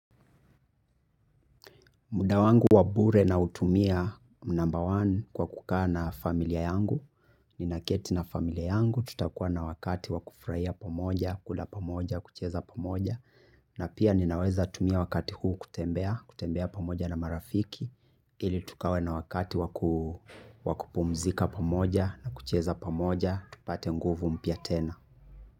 Mdawangu wabure na utumia mnamba one kwa kukaa na familia yangu, ni naketi na familia yangu, tutakuwa na wakati wakufurahia pamoja, kula pamoja, kucheza pamoja, na pia ninaweza tumia wakati huu kutembea, kutembea pamoja na marafiki, ili tukawe na wakati waku wakupumzika pamoja na kucheza pamoja, tupate nguvu mpia tena.